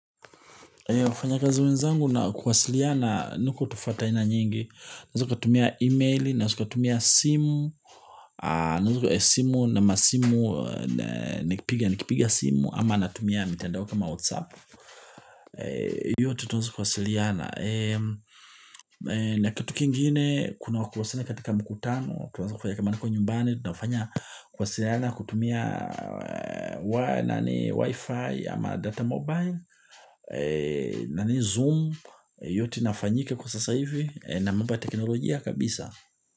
Zangu na kuwasiliana ziko tofauti aina nyingi, unaweza kutumia email, unaweza kutumia simu, unaweza kutumia simu na masimu, nikipiga simu ama natumia mitandao kama whatsapp. Hiyo tutaweza kuwasiliana na kitu kiingine kuna kuna kuwasiliana katika mkutano tutaanza kufanya kama huko nyumbani tunafanya kwasiliana kutumia wifi ama data mobile na zoom yote nafanyika kwa sasa hivi na mambo teknolojia kabisa.